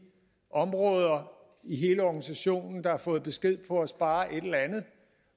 områder i hele organisationen der har fået besked på at spare et eller andet